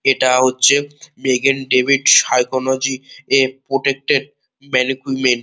এটা হচ্ছে Megan David ফসিসিওলজি প্রোটেক্টেড ।